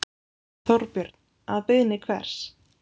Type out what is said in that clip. Þorbjörn: Að beiðni hvers?